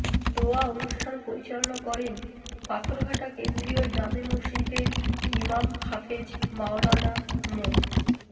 দোয়া অনুষ্ঠান পরিচালনা করেন পাথরঘাটা কেন্দ্রীয় জামে মসজিদের ইমাম হাফেজ মাওলানা মো